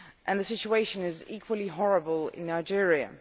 The situation is equally horrible in Nigeria.